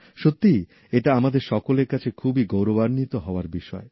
সত্যিই এটা আমাদের সকলের কাছে খুবই গৌরবান্বিত হওয়ার বিষয়